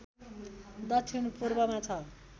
दक्षिण पूर्वमा छ